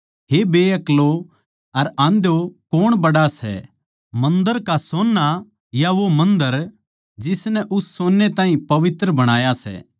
हे बेअक्लो अर आंध्यो कौण बड्ड़ा सै मन्दर का सोन्ना या वो मन्दर जिसनै उस सोन्ने ताहीं पवित्र बणाया सै